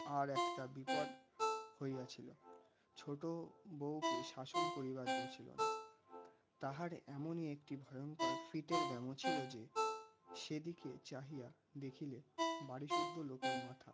আর একটা বিপদ হইয়া ছিল. ছোটো বউকে শাসন করিবার জো ছিলনা. তাহার এমনই একটি ভয়ঙ্কর ফিটের ব্যামো ছিল যে সেদিকে চাহিয়া দেখিলে বাড়িসুদ্ধু লোকের মাথা